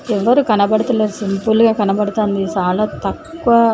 ఎవరు కనబడుతలేరు సింపుల్గా కనబడుతాంది చాలా తక్కువ.